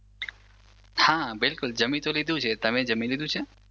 હા બિલકુલ જમી તો લીધું છે તમે જમી લીધું છે